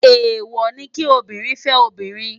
Éwò ni ki óbìrín fè óbìrín